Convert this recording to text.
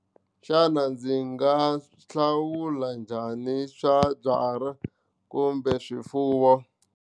Xana ndzi nga hlawula njhani swa byala kumbe swifuwo.